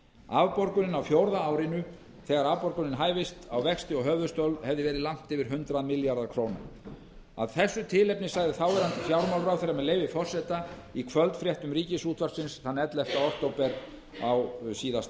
afborgunin á fjórða árinu þegar afborgun hæfist á vexti og höfuðstól hefði verið langt yfir hundrað milljarð króna af þessu tilefni sagði þáverandi fjármálaráðherra með leyfi forseta í kvöldfréttum ríkisútvarpsins þann ellefta október á síðasta